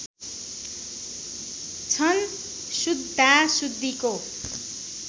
छन् शुद्धा शुद्धीको